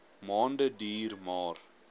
maande duur maar